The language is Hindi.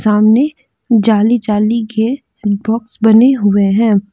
सामने जाली जाली के बॉक्स दिखाई दे रहे हैं।